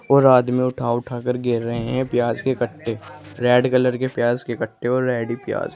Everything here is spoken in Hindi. और आदमी उठा उठा कर गिन रहे हैं प्याज के कट्टे रेड कलर के प्याज के कट्टे और रेड है प्याज।